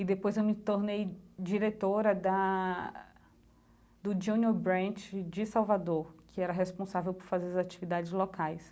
E depois eu me tornei diretora da do Junior Branch de Salvador, que era responsável por fazer as atividades locais.